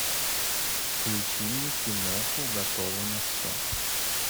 включи мне киноху готова на все